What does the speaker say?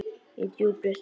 Í djúpri hryggð.